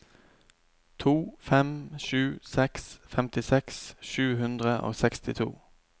to fem sju seks femtiseks sju hundre og sekstito